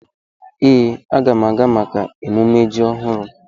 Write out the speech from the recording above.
Ee, m ga-aga maka emumme ji ọhụrụ.